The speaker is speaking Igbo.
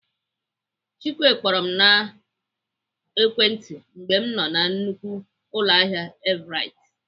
Chike kpọrọ m n'ekwentị mgbe ọ nọ na nnukwu ụlọahịa Everite.